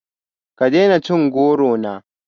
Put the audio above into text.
Ka daina cin goro na